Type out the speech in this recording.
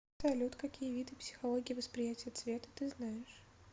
салют какие виды психология восприятия цвета ты знаешь